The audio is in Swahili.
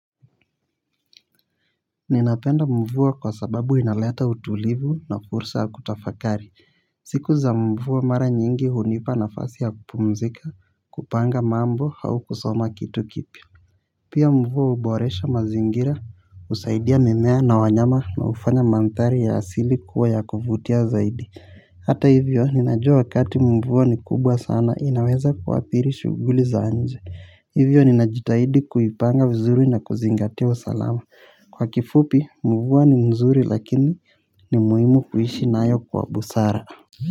Ninapenda mvua kwa sababu inalata utulivu na kursa ya kutafakari. Siku za mvua mara nyingi hunipa nafasi ya kupumzika kupanga mambo au kusoma kitu kipya. Pia mvua uboresha mazingira usaidia mimea na wanyama na ufanya manthari ya asili kuwa ya kufutia zaidi. Hata hivyo ninajua wakati mvua ni kubwa sana inaweza kuwathiri shuguli za nje. Hivyo ninajitahidi kuipanga vizuri na kuzingatiwa usalama. Kwa kifupi mvua ni mzuri lakini ni muhimu kuishi nayo kwa busara.